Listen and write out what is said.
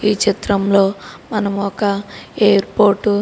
ఈ చిత్రంలో మనము ఒక ఎయిర్పోర్ట్ --